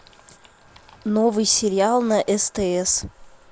новый сериал на стс